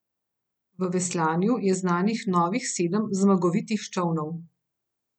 V veslanju je znanih novih sedem zmagovitih čolnov.